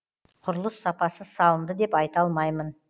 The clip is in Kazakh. құрылыс сапасыз салынды деп айта алмаймын